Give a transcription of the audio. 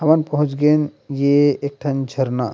हमन पहुँच गयेन ये एक ठि झरना--